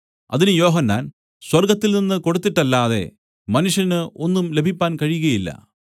അതിന് യോഹന്നാൻ സ്വർഗ്ഗത്തിൽനിന്നു കൊടുത്തിട്ടല്ലാതെ മനുഷ്യന് ഒന്നും ലഭിപ്പാൻ കഴിയുകയില്ല